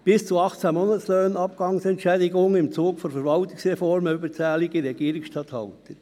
bis zu 18 Monatslöhnen Abgangsentschädigung im Zug von Verwaltungsreformen für überzählige Regierungsstatthalter.